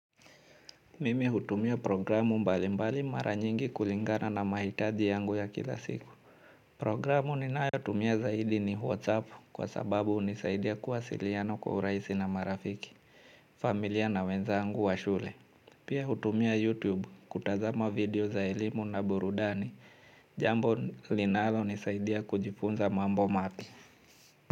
Mimi hutumia programu mbalimbali mara nyingi kulingana na mahitaji yangu ya kila siku. Programu ninayotumia zaidi ni whatsapp kwa sababu hunisaidia kwa uwasiliano kwa urahisi na marafiki familia na wenzaangu wa shule. Pia hutumia youtube kutazama video za elimu na burudani jambo linalo nisaidia kujifunza mambo mapya.